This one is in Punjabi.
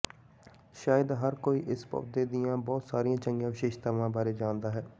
ਸ਼ਾਇਦ ਹਰ ਕੋਈ ਇਸ ਪੌਦੇ ਦੀਆਂ ਬਹੁਤ ਸਾਰੀਆਂ ਚੰਗੀਆਂ ਵਿਸ਼ੇਸ਼ਤਾਵਾਂ ਬਾਰੇ ਜਾਣਦਾ ਹੈ